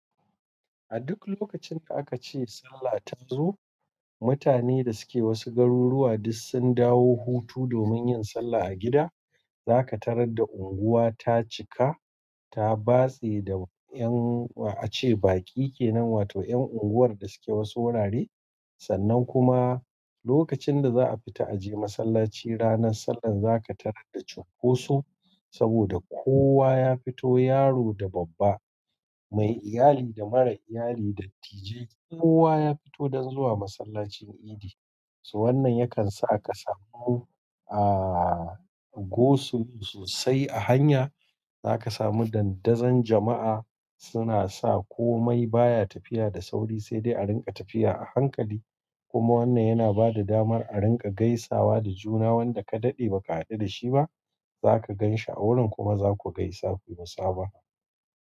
A duk lokacin da a ka ce sallah ta zo, mutanen da suke wasu garuruwa duk sun dawo hutu domin yin sallah a gida. Za ka tarar da unguwa ta cika, ta batse da a ce baki kenan, wato 'yan unguwar da suke wasu wurare. Sannan kuma lokacin da za a fita a je masallaci ranar sallar, za ka tarar da cinkoso saboda kowa ya fito, yaro da babba, mai iyali da mara iyali, dattijai kowa ya fito don zuwa masallacin idi. To wannan yakan sa ka samu, ah, go sulo sosai a hanya. Za ka samu dandazon jama'a suna sa komai baya tafiya da sauri, sai dai a ringa tafiya a hankali. Kuma wannan yana bada damar a ringa gaisawa da juna wanda ka daɗe ba ka haɗu da shi ba, za ka gan shi a wurin kuma za ku gaisa, kuyi musabaha.